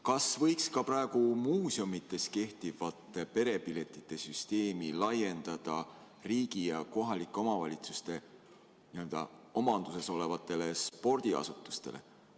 Kas võiks ka praegu muuseumides kehtivate perepiletite süsteemi laiendada riigi ja kohalike omavalitsuste omanduses olevatele spordiasutustele?